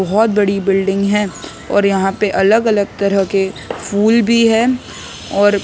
बहुत बड़ी बिल्डिंग है और यहां पे अलग अलग तरह के फूल भी है और--